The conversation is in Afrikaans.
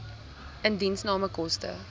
indiensname koste